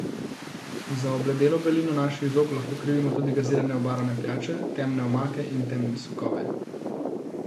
Za obledelo belino naših zob lahko krivimo tudi gazirane obarvane pijače, temne omake in temne sokove.